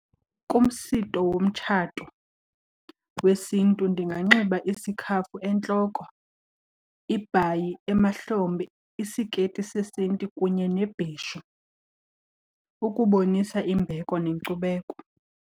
Kumsitho womtshato wesiNtu ndinganxiba isikhafu entloko, ibhayi emahlombe, isiketi sesiNtu kunye nebheshu ukubonisa imbeko nenkcubeko.